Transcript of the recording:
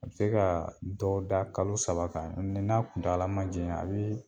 A bi se ka dɔw da kalo saba kan n'a kuntala ma janya a bi